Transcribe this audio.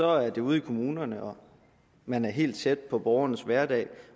er det ude i kommunerne man er helt tæt på borgernes hverdag